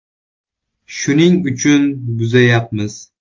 Shuning uchun buzayapmiz.